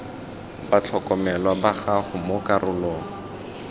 batlhokomelwa ba gago mo karolong